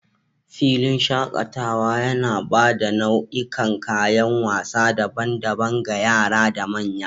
filin shakataea yana ba da nau'ikan kayan wasa daban-daban ga yara da manya.